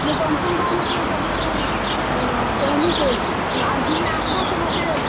ମୁଇଁ ତମ୍ କୁ ହେନ୍ତା ହେଲେ ଫେର୍ ସବୁ, ଆଁ, କହେମି ସେ। ଆର୍ ଦିନେ ଆସ୍ ବ ସେ ମତେ।